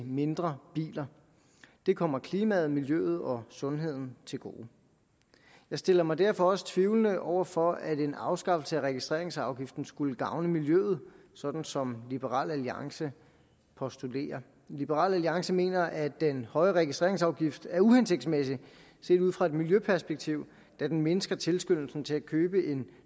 mindre biler det kommer klimaet miljøet og sundheden til gode jeg stiller mig derfor også tvivlende over for at en afskaffelse af registreringsafgiften skulle gavne miljøet sådan som liberal alliance postulerer liberal alliance mener at den høje registreringsafgift er uhensigtsmæssig set ud fra et miljøperspektiv da den mindsker tilskyndelsen til at købe en